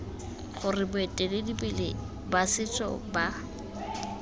gore baeteledipele ba setso ba